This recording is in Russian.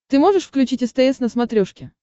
ты можешь включить стс на смотрешке